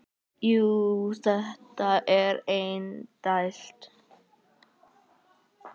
Jú, þetta er indælt